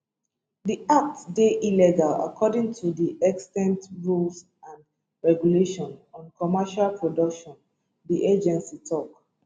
dis act dey illegal according to di extant rules and regulations on commercial production di agency tok